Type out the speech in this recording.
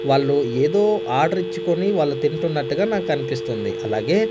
వాళ్లు ఏదో ఆర్డర్ ఇచ్చుకుని వాళ్ళు తింటున్నట్టుగా నాకు అనిపిస్తుంది అలాగే--